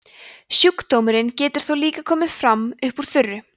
sjúkdómurinn getur þó líka komið fram upp úr þurru